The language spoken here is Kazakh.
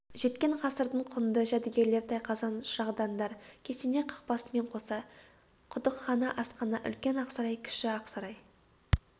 жеткен ғасырдың құнды жәдігерлер тайқазан шырағдандар кесене қақпасымен қоса құдықхана асхана үлкен ақсарай кіші ақсарай